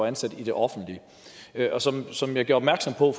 ansat i det offentlige og som som jeg gjorde opmærksom på